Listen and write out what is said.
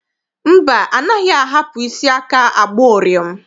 Mba, anaghị ahapụ isi aka agba ụrịọm.